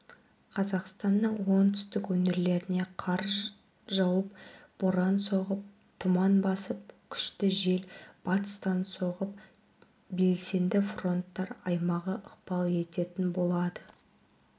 қазақстанның оңтүстік өңірлеріне қар жауып боран соғып тұман басып күшті жел батыстан соғып белсенді фронттар аймағы ықпал ететін болады